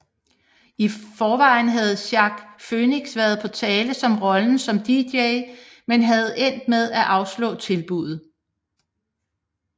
I forvejen havde Joaquin Phoenix været på tale som rollen som DJ men havde endt med at afslå tilbuddet